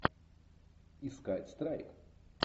искать страйк